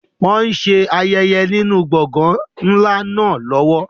Wọn ṣe ayẹyẹ nínú gbọ̀ngàn ńlá náà lọ́wọ́.